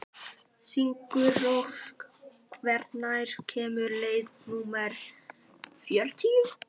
Sigurósk, hvenær kemur leið númer þrjátíu?